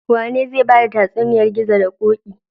Wane zai bada tatsuniyar gizo da koki?